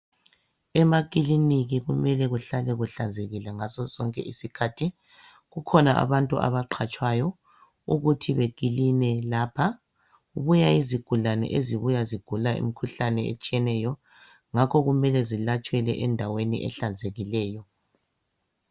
Emakiliniki kumele kuhlale kuhlanzekile ngaso sonke isikhathi. Kukhona abantu abaqatshwayo ukuthi bekiline lapha. Kubuya izigulani ezibuya zigula imikhuhlane etshiyeneyo ngakho kumele zilatshelwe endaweni ehlanzekileyo.